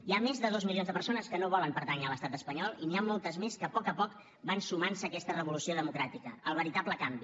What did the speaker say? hi ha més de dos milions de persones que no volen pertànyer a l’estat espanyol i n’hi ha moltes més que a poc a poc van sumant se a aquesta revolució democràtica el veritable canvi